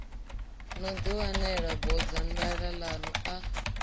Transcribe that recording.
no ḓiwanela bodzanḓala ḽaṋu a